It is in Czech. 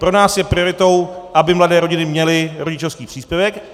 Pro nás je prioritou, aby mladé rodiny měli rodičovský příspěvek.